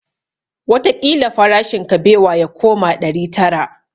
Wataƙila farashin kabewa ya koma ɗari tara